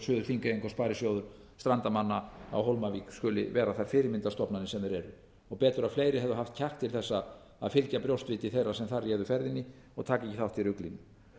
þingeyinga og sparisjóður strandamanna á hólmavík skuli vera þær fyrirmyndarstofnanir sem þær eru betur að fleiri hefðu haft kjark til þess að fylgja brjóstviti þeirra sem þar réðu ferðinni og taka ekki þátt í ruglinu